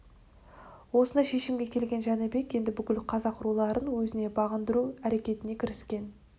осындай шешімге келген жәнібек енді бүкіл қазақ руларын өзіне бағындыру әрекетіне кіріскен